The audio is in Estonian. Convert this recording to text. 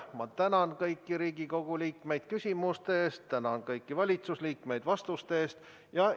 Ma tänan kõiki Riigikogu liikmeid küsimuste eest ja tänan kõiki valitsusliikmeid vastuste eest!